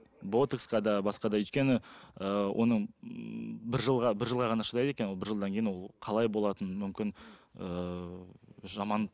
ботоксқа де басқа да өйткені ыыы оның бір жылға бір жылға ғана шыдайды екен ол бір жылдан кейін ол қалай болатын мүмкін ыыы жаман